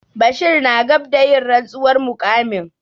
Bashir na gab da yin rantsuwar muƙamin.